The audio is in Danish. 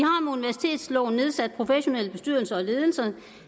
nedsat professionelle bestyrelser og ledelser